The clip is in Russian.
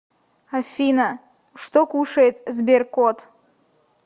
афина что кушает сберкот